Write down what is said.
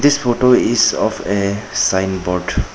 This photo is of a sign board.